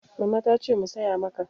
Mama ta ce mu saya maka.